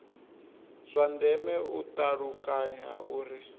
zwa ndeme u ṱalukanya uri